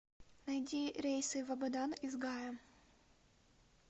найди рейсы в абадан из гая